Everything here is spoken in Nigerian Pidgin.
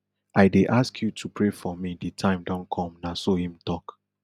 i dey ask you to pray for me di time don come na so im tok